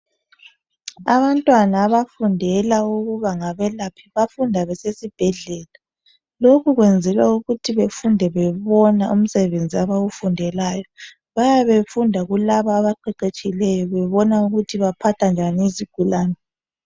Abantwana abafundela ukuba ngabelaphi bafunda besesibhedlela lokhu kwenzelwa ukuthi befunde bebona umsebenzi abawufundelayo bayabe befunda kulabo abaqeqeshileyo bebona ukuthi baphatha njani izigulani